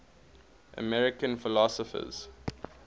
american philosophers